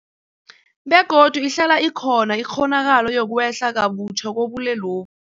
Begodu ihlala ikhona ikghonakalo yokwehla kabutjha kobulwelobu.